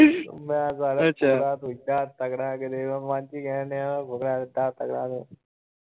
ਮੈਂ ਕਿਹਾ ਫੁਕਰਾ ਇੰਨਾਂ‌ ਤੱਕੜਾ ਕਿਤੇ ਮੈਂ ਮਨ ਚ ਈ ਕਹਿਣ ਦਿਆ ਫੁਕਰਾ ਇੰਨਾਂ ਤੱਕੜਾ।